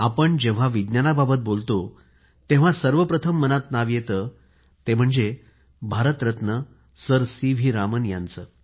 आप जेव्हा विज्ञानाबाबत बोलतो तेव्हा सर्व प्रथम मनात नाव येतं ते म्हणजे Bharat Ratna sir C V Raman यांचे